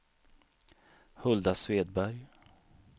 Hulda Svedberg